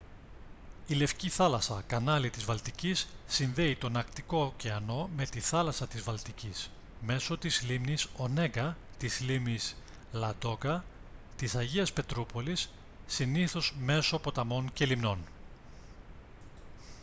η λευκή θάλασσα κανάλι της βαλτικής συνδέει τον αρκτικό ωκεανό με τη θάλασσα της βαλτικής μέσω της λίμνης ονέγκα της λίμνης λαντόγκα της αγίας πετρούπολης συνήθως μέσω ποταμών και λιμνών